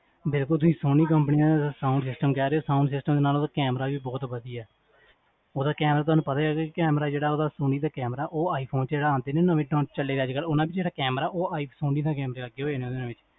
ਦੇਖੋ ਤੁਸੀਂ, Sony company ਦਾ sound system ਕਹ ਰਹੇ ਹੋ, sound system ਦੇ ਨਾਲ ਓਦਾ ਵੀ ਬੋਹੋਤ ਵਡਿਆ ਓਦਾ ਕੈਮੇਰਾਥੋਨੂ ਪਤਾ ਹੀ ਹੈਗਾ ਜੀ, ਓਦਾ, ਸੋਨੀ ਦਾ camera, ਓਹ iphone ਜੇਹੜਾ ਆਂਦੇ ਨੀ ਹੁਣ ਨਵੇਂ ਚੱਲੇ ਅੱਜਕਲ, ਓਨ੍ਨਾ ਪਿਛੇ ਜੇਹੜਾ camera, ਓਹ iphone